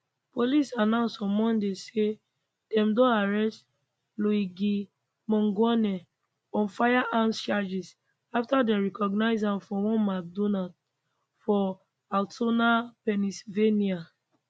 police announce on monday say dem don arrest luigi mangione on firearms charges afta dem recognise am for one mcdonald for altoona pennsylvania